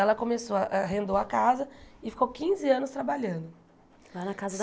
Ela começou arrendou a casa e ficou quinze anos trabalhando. Lá na casa da